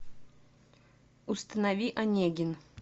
установи онегин